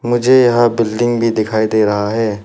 मुझे यहां बिल्डिंग भी दिखाई दे रहा है।